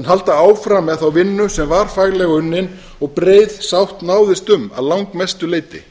en halda áfram með þá vinnu sem var faglega unnin og breið sátt náðist um að langmestu leyti